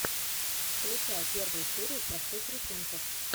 включай первую серию простых рисунков